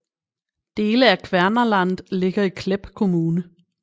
Dele af Kvernaland ligger i Klepp kommune